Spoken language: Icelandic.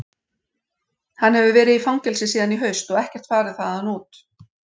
Hann hefur verið í fangelsi síðan í haust og ekkert farið þaðan út.